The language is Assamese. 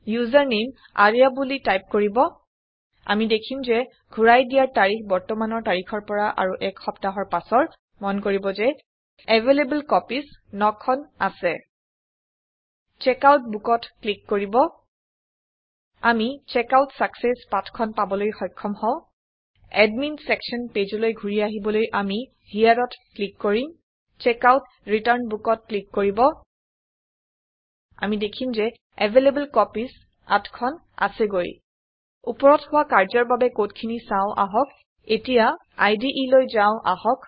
ইউচাৰনামে আৰ্য্যা বুলি টাইপ কৰিব আমি দেখিম যে ঘূৰাই দিয়াৰ তাৰিখ বৰ্তমানৰ তাৰিখৰ পৰা আৰু এক সপ্তাহৰ পাছৰ মন কৰিব যে এভেইলেবল কপিজ ৯খন আছে চেকআউট Bookত ক্লিক কৰিব আমি চেকআউট চাকচেছ পাঠ খন পাবলৈ সক্ষম হওঁ এডমিন ছেকশ্যন Pageলৈ ঘূৰি আহিবলৈ আমি hereত ক্লিক কৰিম checkoutৰিটাৰ্ণ Bookত ক্লিক কৰিব আমি দেখিম যে এভেইলেবল কপিজ ৮খন আছেগৈ ওপৰত হোৱা কাৰ্য্যৰ বাবে কড খিনি চাওঁ আহক এতিয়া ইদে লৈ যাও আহক